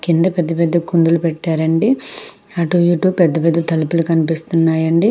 కింద పెద్ద పెద్ద కుండలు పెట్టారండి. అటు ఇటు పెద్ద పెద్ద తలుపులు కనిపిస్తున్నాయండి.